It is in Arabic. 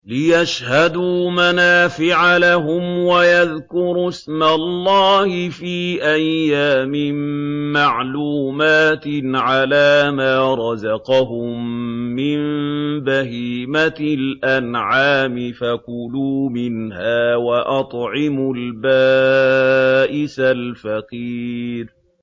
لِّيَشْهَدُوا مَنَافِعَ لَهُمْ وَيَذْكُرُوا اسْمَ اللَّهِ فِي أَيَّامٍ مَّعْلُومَاتٍ عَلَىٰ مَا رَزَقَهُم مِّن بَهِيمَةِ الْأَنْعَامِ ۖ فَكُلُوا مِنْهَا وَأَطْعِمُوا الْبَائِسَ الْفَقِيرَ